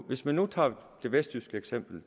hvis man nu tager det vestjyske eksempel